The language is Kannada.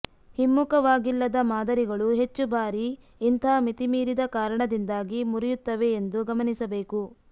ಹಿಮ್ಮುಖವಾಗಿಲ್ಲದ ಮಾದರಿಗಳು ಹೆಚ್ಚು ಬಾರಿ ಇಂತಹ ಮಿತಿಮೀರಿದ ಕಾರಣದಿಂದಾಗಿ ಮುರಿಯುತ್ತವೆ ಎಂದು ಗಮನಿಸಬೇಕು